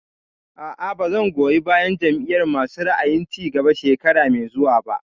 A'a, ba zan goyi bayan Jam'iyar masu ra'ayin cigaba shekara mai zuwa ba